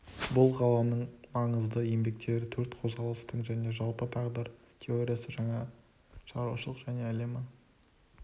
бұл ғалымның маңызды еңбектері төрт қозғалыстың және жалпы тағдыр теориясы жаңа шаруашылық және әлемі